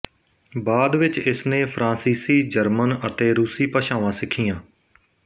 ਬਾਅਦ ਵਿੱਚ ਇਸਨੇ ਫ਼ਰਾਂਸੀਸੀ ਜਰਮਨ ਅਤੇ ਰੂਸੀ ਭਾਸ਼ਾਵਾਂ ਸਿੱਖੀਆਂ